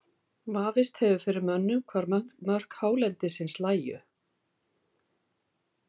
Vafist hefur fyrir mönnum hvar mörk hálendisins lægju.